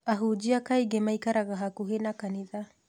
Ahunjia kaingĩ maikaraga hakuhĩ na kanitha